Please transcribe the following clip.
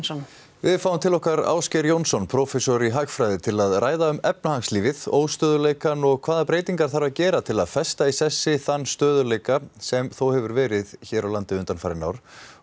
við fáum til okkar Ásgeir Jónsson prófessor í hagfræði til að ræða um efnahagslífið óstöðugleikann og hvaða breytingar þarf að gera til að festa í sessi þann stöðugleika sem þó hefur verið hér á landi undanfarin ár